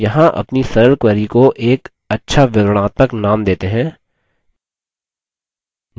यहाँ अपनी सरल query को एक अच्छा विवरणात्मक name देते हैं